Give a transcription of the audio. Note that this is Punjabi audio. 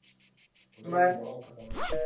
ਓਹਦੇ ਵਿਚ ਬੜਾ ਔਖਾ ਕੰਮ ਆ ਬਈ।